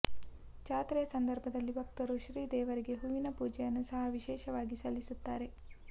ಜಾತ್ರೆಯ ಸಂದರ್ಭದಲ್ಲಿ ಭಕ್ತರು ಶ್ರೀ ದೇವರಿಗೆ ಹೂವಿನ ಪೂಜೆಯನ್ನು ಸಹ ವಿಶೇಷವಾಗಿ ಸಲ್ಲಿಸುತ್ತಾರೆ